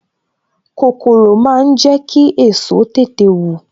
Kòkòrò máa ń jẹ ki èso tètè wù